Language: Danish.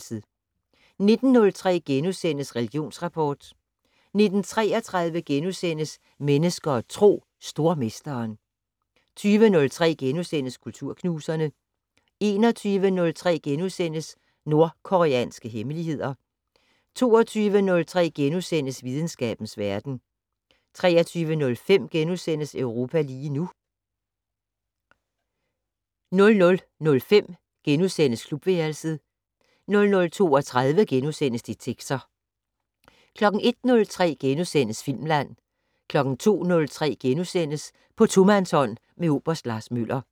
19:03: Religionsrapport * 19:33: Mennesker og Tro: Stormesteren * 20:03: Kulturknuserne * 21:03: Nordkoreanske hemmeligheder * 22:03: Videnskabens Verden * 23:05: Europa lige nu * 00:05: Klubværelset * 00:32: Detektor * 01:03: Filmland * 02:03: På tomandshånd med oberst Lars Møller *